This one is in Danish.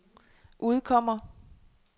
udkommer